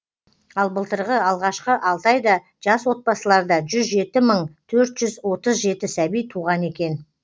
ал былтырғы алғашқы алты айда жас отбасыларда жүз жеті мың төрт жүз отыз жеті сәби туған екен